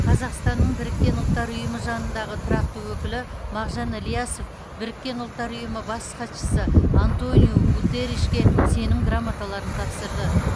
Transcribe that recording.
қазақстанның біріккен ұлттар ұйымы жанындағы тұрақты өкілі мағжан ілиясов біріккен ұлттар ұйымы бас хатшысы антониу гутерришке сенім грамоталарын тапсырды